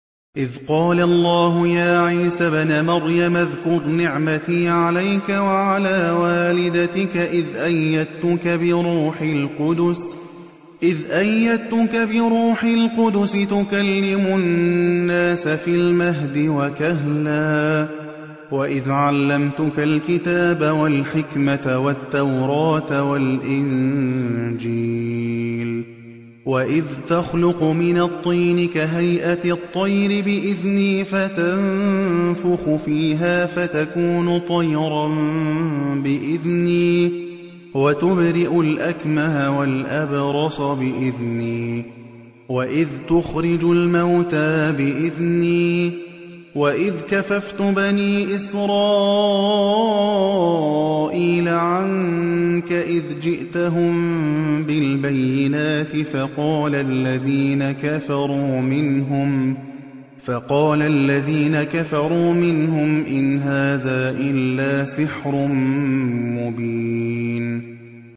إِذْ قَالَ اللَّهُ يَا عِيسَى ابْنَ مَرْيَمَ اذْكُرْ نِعْمَتِي عَلَيْكَ وَعَلَىٰ وَالِدَتِكَ إِذْ أَيَّدتُّكَ بِرُوحِ الْقُدُسِ تُكَلِّمُ النَّاسَ فِي الْمَهْدِ وَكَهْلًا ۖ وَإِذْ عَلَّمْتُكَ الْكِتَابَ وَالْحِكْمَةَ وَالتَّوْرَاةَ وَالْإِنجِيلَ ۖ وَإِذْ تَخْلُقُ مِنَ الطِّينِ كَهَيْئَةِ الطَّيْرِ بِإِذْنِي فَتَنفُخُ فِيهَا فَتَكُونُ طَيْرًا بِإِذْنِي ۖ وَتُبْرِئُ الْأَكْمَهَ وَالْأَبْرَصَ بِإِذْنِي ۖ وَإِذْ تُخْرِجُ الْمَوْتَىٰ بِإِذْنِي ۖ وَإِذْ كَفَفْتُ بَنِي إِسْرَائِيلَ عَنكَ إِذْ جِئْتَهُم بِالْبَيِّنَاتِ فَقَالَ الَّذِينَ كَفَرُوا مِنْهُمْ إِنْ هَٰذَا إِلَّا سِحْرٌ مُّبِينٌ